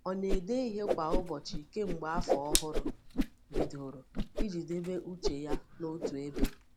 Ọ na-ede ihe kwa ụbọchị kemgbe afọ ọhụrụ bidoro, iji debe uche ya n’otu ebe.